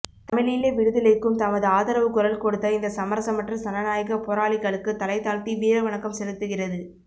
தமிழீழ விடுதலைக்கும் தமது ஆதரவு குரல் கொடுத்த இந்த சமரசமற்ற சனநாயக போராளிகளுக்கு தலைதாழ்த்தி வீரவணக்கம் செலுத்துகிறது